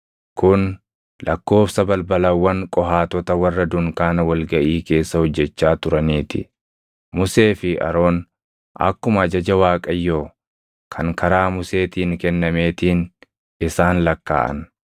Kun lakkoobsa balbalawwan Qohaatota warra dunkaana wal gaʼii keessa hojjechaa turanii ti. Musee fi Aroon akkuma ajaja Waaqayyoo kan karaa Museetiin kennameetiin isaan lakkaaʼan.